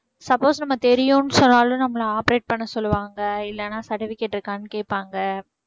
suppose நம்ம தெரியும்னு சொன்னாலும் நம்மள operate பண்ண சொல்லுவாங்க இல்லனா certificate இருக்கான்னு கேப்பாங்க